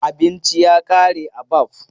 Abinci ya ƙare a Baff.